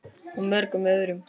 Og mörgum öðrum.